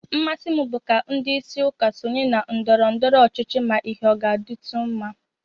Mmasị m bụ ka ndị isi ụka sonye na ndọrọndọrọ ọchịchị ma ihe ọ ga-adịtụ mma